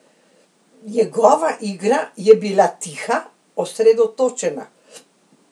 Njegova igra je bila tiha, osredotočena.